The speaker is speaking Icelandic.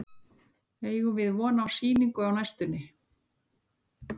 Eigum við von á sýningu á næstunni?